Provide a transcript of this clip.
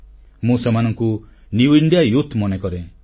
ମୁଁ ସେମାନଙ୍କୁ new India youth ନବ ଭାରତର ଯୁବଶକ୍ତି ମନେକରେ